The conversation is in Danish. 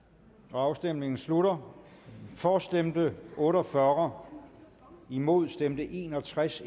afstemningen slutter for stemte otte og fyrre imod stemte en og tres